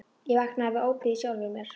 Ég vaknaði við ópið í sjálfri mér.